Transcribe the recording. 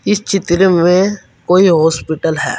इस चित्र में कोई हॉस्पिटल है।